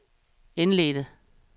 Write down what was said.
indledte